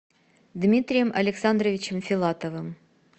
дмитрием александровичем филатовым